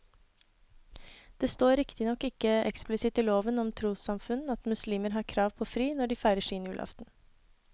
Det står riktignok ikke eksplisitt i loven om trossamfunn at muslimer har krav på fri når de feirer sin julaften.